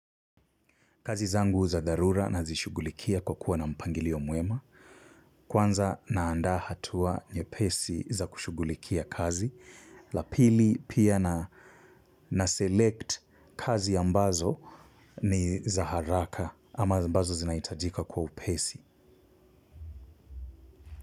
Kazi zangu za dharura nazishugulikia kwa kuwa na mpangilio mwema. Kwanza naandaa hatua nyepesi za kushughulikia kazi. La pili pia na, naselect kazi ambazo ni za haraka ama ambazo zinahitajika kwa upesi.